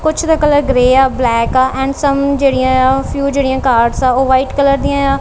ਕੁੱਛ ਦੇ colour grey ਆ ਬਲੈਕ ਆ ਐਂਡ ਸੰਮ੍ ਜੇਹੜੀਆਂ ਯਾਂ ਫਿਊ ਜੇਹੜੀਆਂ ਕਾਰਸ ਹਾਂ ਓਹ ਵ੍ਹਾਈਟ ਕਲਰ ਦਿਆਂ ਯਾਂ।